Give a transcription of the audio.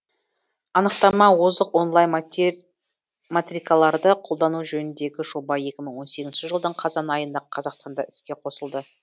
анықтама озық онлайн матрикаларды қолдану жөніндегі жоба екі мы он сегізінші жылдың қазан айында қазақстанда іске қосылды